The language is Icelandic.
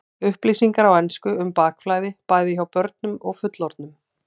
Upplýsingar á ensku um bakflæði, bæði hjá börnum og fullorðnum.